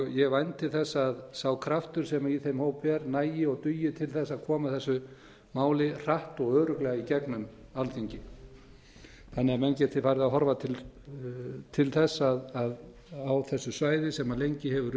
ég vænti þess að sá kraftur sem í þeim hópi er nægi og dugi til þess að koma þessu máli hratt og örugglega í gegnum alþingi þannig að menn geti farið að horfa til þess að á þessu svæði sem lengi hefur